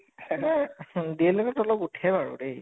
DL Ed ত অলপ উঠে বাৰু দে